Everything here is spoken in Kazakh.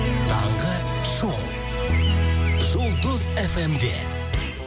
таңғы шоу жұлдыз эф эм де